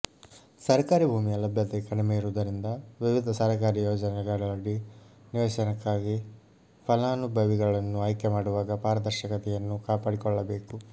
ಸರಕಾರಿ ಭೂಮಿಯ ಲಭ್ಯತೆ ಕಡಿಮೆ ಇರುವುದರಿಂದ ವಿವಿಧ ಸರಕಾರಿ ಯೋಜನೆಗಳಡಿ ನಿವೇಶನಕ್ಕಾಗಿ ಫಲಾನುಭವಿಗಳನ್ನು ಆಯ್ಕೆ ಮಾಡುವಾಗ ಪಾರದರ್ಶಕತೆಯನ್ನು ಕಾಪಾಡಿಕೊಳ್ಳಬೇಕು